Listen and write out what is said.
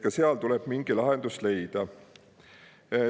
Ka seal tuleb mingi lahendus leida.